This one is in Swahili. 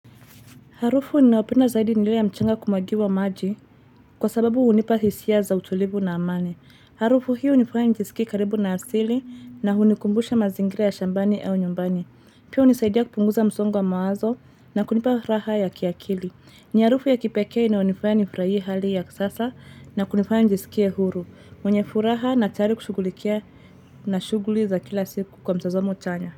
Harufu ninayopenda zaidi nile ya mchanga kumwagiwa maji kwa sababu unipa hisia za utulivu na amani. Harufu hiyo unifaya nijisikie karibu na asili na hunikumbusha mazingira ya shambani au nyumbani. Pia unisaidia kupunguza msongo wa mawazo na kunipa raha ya kiakili. Ni harufu ya kipekea inayonifaya nifrahie hali ya sasa na kunifaya njisikia huru. Mwenye furaha natari kushughulikia na shughuli za kila siku kwa mtazamo chanya.